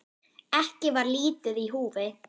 Ekki var lítið í húfi.